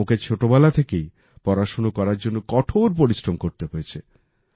ওণাকে ছোটবেলা থেকেই পড়াশোনা করার জন্য কঠোর পরিশ্রম করতে হয়েছে